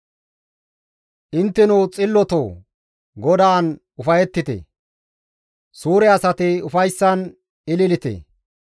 Intteno xillotoo! GODAAN ufayettite; suure asati ufayssan ililite.